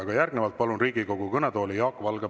Aga järgnevalt palun Riigikogu kõnetooli Jaak Valge.